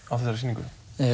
á þessari sýningu